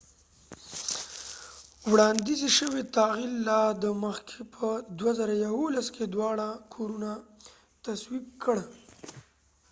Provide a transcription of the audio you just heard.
وړاندیز شوی تعدیل لا د مخکې په ۲۰۱۱ کې دواړه کورونه تصویب کړ